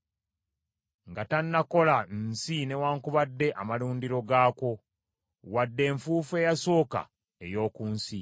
nga tannakola nsi newaakubadde amalundiro gaakwo, wadde enfuufu eyasooka ey’oku nsi.